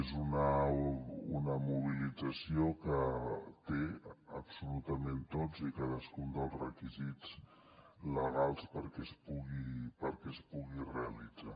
és una mobilització que té absolutament tots i cadascun dels requisits legals perquè es pugui realitzar